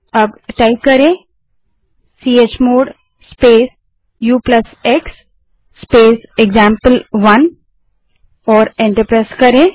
अब chmod space ux space example one type करें और एंटर दबायें